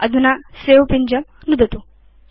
अधुना सवे पिञ्जं नुदतु